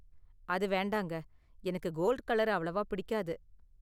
அது வேண்டாங்க, எனக்கு கோல்ட் கலர் அவ்வளவா பிடிக்காது.